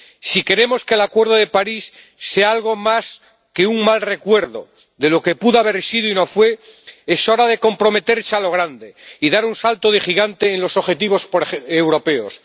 Si queremos que el Acuerdo de París sea algo más que un mal recuerdo de lo que pudo haber sido y no fue es hora de comprometerse a lo grande y dar un salto de gigante en los objetivos europeos.